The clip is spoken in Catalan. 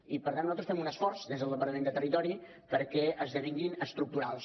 i per tant nosaltres fem un esforç des del departament de territori perquè esdevinguin estructurals